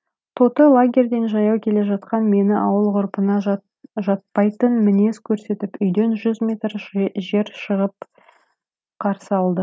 тоты лагерьден жаяу келе жатқан мені ауыл ғұрпына жатпайтын мінез көрсетіп үйден жүз метр жер шығып қарсы алды